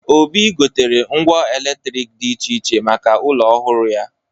Obi gotere ngwa eletrik dị iche iche maka ụlọ ọhụrụ ya.